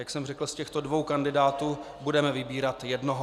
Jak jsem řekl, z těchto dvou kandidátů budeme vybírat jednoho.